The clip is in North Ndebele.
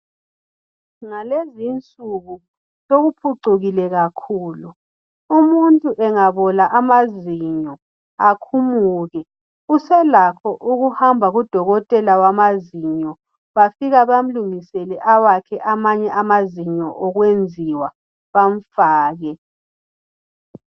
Ngalezi insuku sokuphucukile kakhulu. Umuntu engabola amazinyo akhumuke Uselakho ukuhamba kudokotela wamazinyo bafika bamlungisele awakhe amanye amazinyo okwenziwa bamfake.